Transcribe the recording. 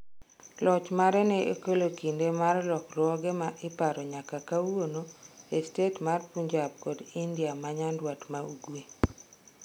Loch mare ne okelo kinde mar lokruoge ma iparo nyaka kawuono e stet mar Punjab kod India ma Nyanduat ma Ugwe.